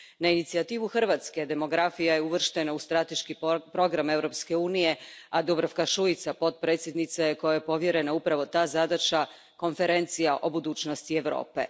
Na inicijativu Hrvatske, demografija je uvrštena u strateški program Europske unije, a Dubravka Šuica potpredsjednica je kojoj je povjerena upravo ta zadaća, Konferencija o budućnosti Europe.